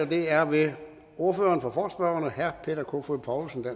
det er ved ordføreren for forespørgerne herre peter kofod poulsen